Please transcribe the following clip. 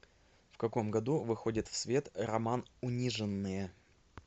в каком году выходит в свет роман униженные